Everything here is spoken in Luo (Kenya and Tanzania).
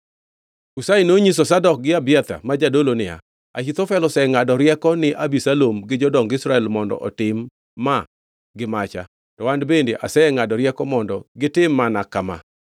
Hushai nonyiso Zadok gi Abiathar, ma jodolo niya, “Ahithofel osengʼado rieko ni Abisalom gi jodong Israel mondo otim ma gi macha, to an bende asengʼado rieko mondo gitim mana kama.